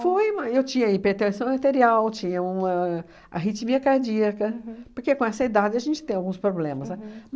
Foi uma, eu tinha hipertensão arterial, tinha uma arritmia cardíaca, porque com essa idade a gente tem alguns problemas, né?